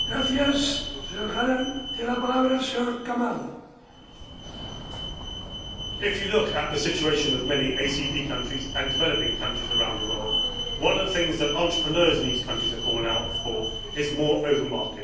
Mr President, if you look at the situation of many ACP countries and developing countries around the world, one of the things that entrepreneurs in these countries are calling out for is more open markets.